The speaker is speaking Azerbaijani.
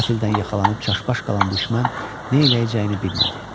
Qəfildən yaxalanıb çaşbaş qalan düşmən nə eləyəcəyini bilmədi.